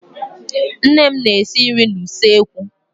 Nne m na-esi nri na-usekwú.